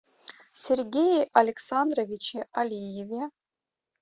сергее александровиче алиеве